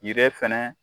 Yiri fɛnɛ